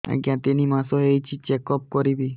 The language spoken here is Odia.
ଆଜ୍ଞା ତିନି ମାସ ହେଇଛି ଚେକ ଅପ କରିବି